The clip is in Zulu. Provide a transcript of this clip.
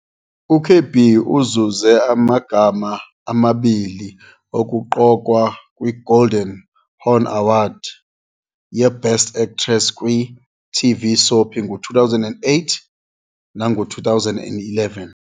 U-KB uzuze amagama amabili okuqokwa kwiGolden Horn Award ye-Best Actress kwi-TV Soap ngo-2008 nango-2011.